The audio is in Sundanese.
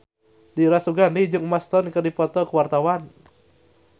Dira Sugandi jeung Emma Stone keur dipoto ku wartawan